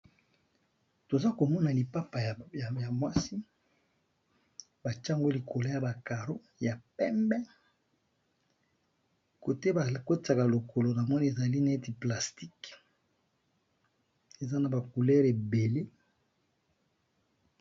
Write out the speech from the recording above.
toza komona lipapa ya mwasi batiyango likolo ya balcon ya pembe kote bakotaka lokolo na moni ezali neti plasticue eza na ba langi ebele.